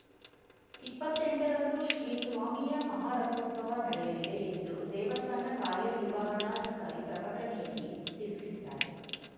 ಇಪ್ಪತ್ತೆಂಟರಂದು ಶ್ರೀ ಸ್ವಾಮಿಯ ಮಹಾರಥೋತ್ಸವ ನಡೆಯಲಿದೆ ಎಂದು ದೇವಸ್ಥಾನ ಕಾರ್ಯ ನಿರ್ವಹಣಾಧಿಕಾರಿ ಪ್ರಕಟಣೆಯಲ್ಲಿ ತಿಳಿಸಿದ್ದಾರೆ